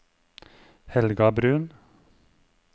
Helga Bruun